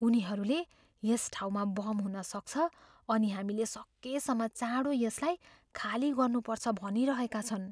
उनीहरूले यस ठाउँमा बम हुन सक्छ अनि हामीले सकेसम्म चाँडो यसलाई खाली गर्नुपर्छ भनिरहेका छन्।